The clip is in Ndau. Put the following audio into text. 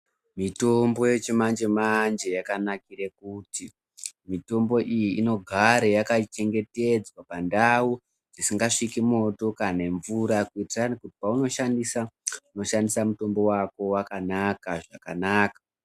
Mitombo yechimanje manje yakanakira kuti mitombo iyi inogara yakachengetedzwa pandau dzisingasviki moto kana mvura pahnoshandisa unoshandisa mutombo wako wakanaka zvakanaka.